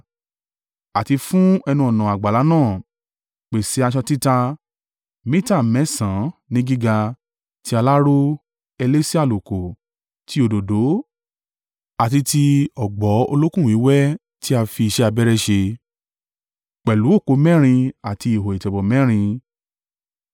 “Àti fún ẹnu-ọ̀nà àgbàlá náà, pèsè aṣọ títa, mita mẹ́sàn-án ní gíga, ti aláró, elése àlùkò, ti òdòdó, àti ti ọ̀gbọ̀ olókùn wíwẹ́ tí a fi iṣẹ́ abẹ́rẹ́ ṣe, pẹ̀lú òpó mẹ́rin àti ihò ìtẹ̀bọ̀ mẹ́rin.